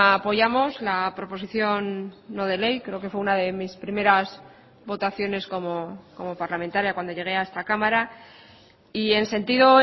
apoyamos la proposición no de ley creo que fue una de mis primeras votaciones como parlamentaria cuando llegué a esta cámara y en sentido